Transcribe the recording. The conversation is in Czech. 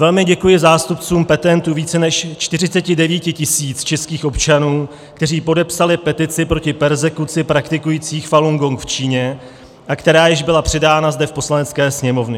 Velmi děkuji zástupcům petentů více než 49 tisíc českých občanů, kteří podepsali petici proti perzekuci praktikující Falun Gong v Číně, a která již byla předána zde v Poslanecké sněmovně.